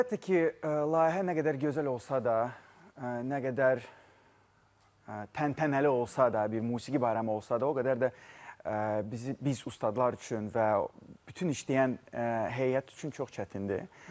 Əlbəttə ki, layihə nə qədər gözəl olsa da, nə qədər təntənəli olsa da, bir musiqi bayramı olsa da, o qədər də bizi biz ustalar üçün və bütün işləyən heyət üçün çox çətindir.